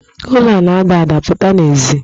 Ụlo a na-ada ada, pụta n'èzí!